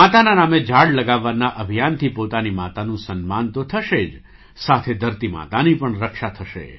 માતાના નામે ઝાડ લગાવવાના અભિયાનથી પોતાની માતાનું સન્માન તો થશે જ સાથે ધરતી માતાની પણ રક્ષા થશે